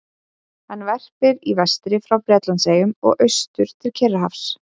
Hann verpir í vestri frá Bretlandseyjum og austur til Kyrrahafs.